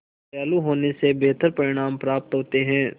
दयालु होने से बेहतर परिणाम प्राप्त होते हैं